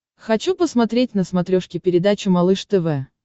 хочу посмотреть на смотрешке передачу малыш тв